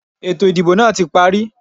Ètò ìdìbò náà tí parí.